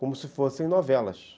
Como se fossem novelas.